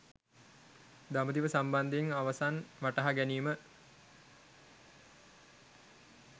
දඹදිව සම්බන්ධයෙන් අවසන් වටහා ගැනීම